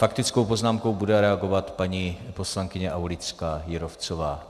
Faktickou poznámkou bude reagovat paní poslankyně Aulická Jírovcová.